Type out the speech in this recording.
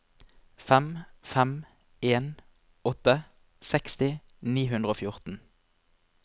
fem fem en åtte seksti ni hundre og fjorten